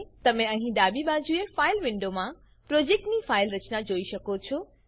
તમે અહીં ડાબી બાજુએ ફાઈલ વિન્ડોમાં પ્રોજેક્ટની ફાઈલ રચના જોઈ શકો છો